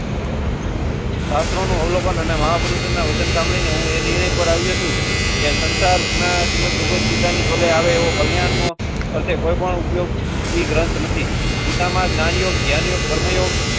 અસરનું અવલોકન અને મહાપુરુષના વચન સાંભળીને હું એ નિર્ણય પર આવ્યો છું. યહ સંસાર. કલ્યાણ. કોઈ પણ ઉપયોગ ગ્રંથ નથી.